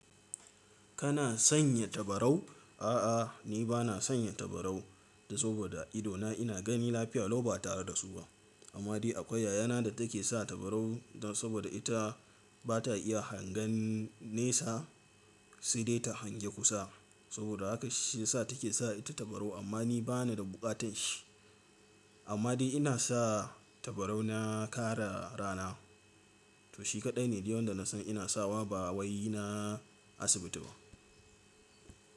Kana sanya tabarau? A'a, ni ba na sanya tabarau da saboda idona ina gani lafiya lau ba tare da su ba. Amma dai akwai yayana da take sa tabarau saboda ita bata iya hangen nesa, sai dai ta hange kusa. Saboda haka shi ya sa take sa ita tabarau. Amma ni bana da bukatan shi. Amma dai ina sa tabarau na kare rana. To shi kadai ne dai wanda na san ina sawa. Ba wai na asibiti ba.